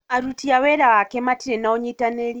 Aruti a wĩra ake matirĩ na ũnyitanĩri